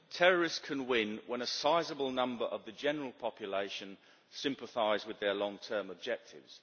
Terrorists can win when a sizable number of the general population sympathise with their long term objectives.